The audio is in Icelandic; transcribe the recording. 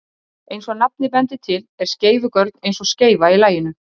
Eins og nafnið bendir til er skeifugörn eins og skeifa í laginu.